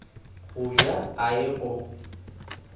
go ja a ye go